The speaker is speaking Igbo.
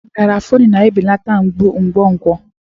Garafuni na-ebelata mgbu nkwonkwo.